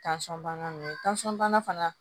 Tansɔn bana nunnu bana